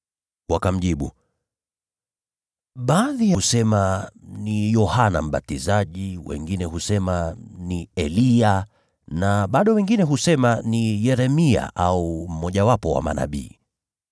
Wakamjibu, “Baadhi husema ni Yohana Mbatizaji; wengine husema ni Eliya; na bado wengine husema ni Yeremia au mmojawapo wa manabii.”